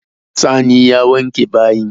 Sani ya wanke bayin.